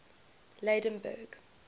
lydenburg